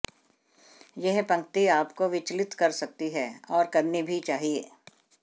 यह पंक्ति आप को विचलित कर सकती है और करनी भी चाहिए